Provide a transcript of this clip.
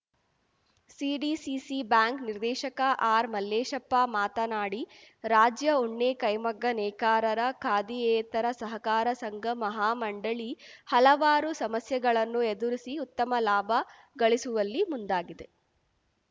CDCC bank ನಿರ್ದೇಶಕ ಆರ್‌ಮಲ್ಲೇಶಪ್ಪ ಮಾತನಾಡಿ ರಾಜ್ಯ ಉಣ್ಣೆ ಕೈಮಗ್ಗ ನೇಕಾರರ ಖಾದಿಯೇತರ ಸಹಕಾರ ಸಂಘ ಮಹಾಮಂಡಳಿ ಹಲವಾರು ಸಮಸ್ಯೆಗಳನ್ನು ಎದುರಿಸಿ ಉತ್ತಮ ಲಾಭ ಗಳಿಸುವಲ್ಲಿ ಮುಂದಾಗಿದೆ